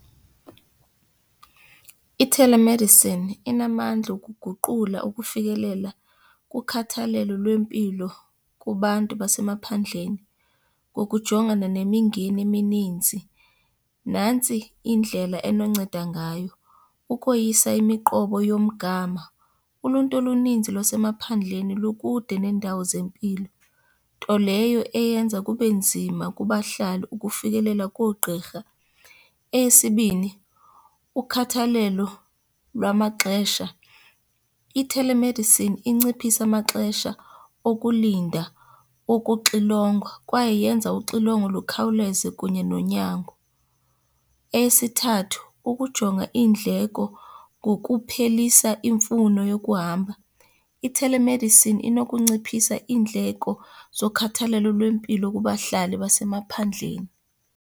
Ithelemedisini inamandla okuguqula ukufikelela kukhathalelo lwempilo kubantu basemaphandleni ngokujongana nemingeni emininzi. Nantsi indlela enonceda ngayo, ukoyisa imiqobo yomgama. Uluntu oluninzi lwasemaphandleni lukude neendawo zempilo, nto leyo eyenza kube nzima kubahlali ukufikelela koogqirha. Eyesibini, ukhathalelo lwamaxesha. Ithelemedisini inciphisa amaxesha okulinda, okuxilongwa kwaye yenza uxilongo lukhawuleze kunye nonyango. Eyesithathu, ukujonga iindleko ngokuphelisa imfuno yokuhamba. Ithelemedisini inokunciphisa iindleko zokhathalelo lwempilo kubahlali basemaphandleni.